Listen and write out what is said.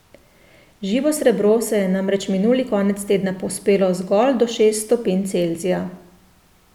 Živo srebro se je namreč minuli konec tedna povzpelo zgolj do šest stopinj Celzija.